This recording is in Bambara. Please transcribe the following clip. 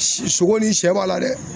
Sogo ni sɛ b'a la dɛ.